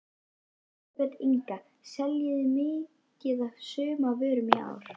Elísabet Inga: Seljið þið mikið af sumarvörum í ár?